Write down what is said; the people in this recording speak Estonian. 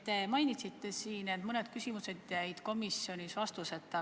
Te mainisite siin, et mõned küsimused jäid komisjonis vastuseta.